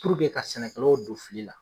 ka sɛnɛkɛlaw don fili la